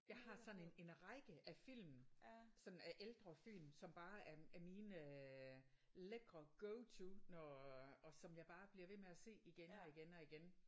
Jeg har sådan en en række af film som er ældre film som bare er er mine øh lækre go to når og som jeg bare bliver ved med at se igen og igen og igen